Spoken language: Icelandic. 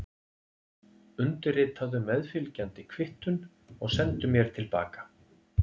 Undirritaðu meðfylgjandi kvittun og sendu mér til baka.